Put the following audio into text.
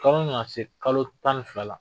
na se kalo tan fila la.